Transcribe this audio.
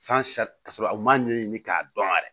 ka sɔrɔ u m'a ɲɛɲini k'a dɔn yɛrɛ